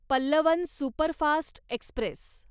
Pallavan superfast Express